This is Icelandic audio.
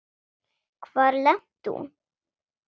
Hvar lenti hún?